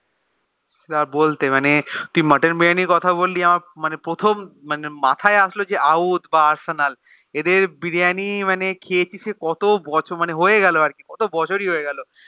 বলতে মানে তুই Mutton biryani কথা বলি আমার মানে প্রথম মানে মাহায়ে আসলো যে ঔধ বা আর্সেনাল এদের বিরিয়ান মানে খেচি কত বছর হয়েগেছে কত বছর বছরই হয়ে গেলো